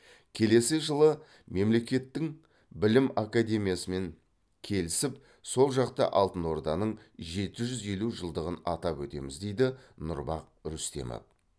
келесі жылы мемлекеттің білім академиясымен келісіп сол жақта алтын орданың жеті жүз елу жылдығын атап өтеміз дейді нұрбах рүстемов